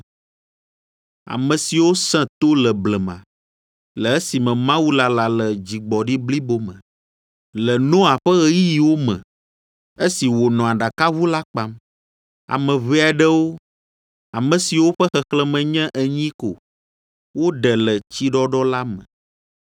ame siwo sẽ to le blema, le esime Mawu lala le dzigbɔɖi blibo me, le Noa ƒe ɣeyiɣiwo me, esi wònɔ aɖakaʋu la kpam. Ame ʋɛ aɖewo, ame siwo ƒe xexlẽme nye enyi ko woɖe le tsiɖɔɖɔ la me.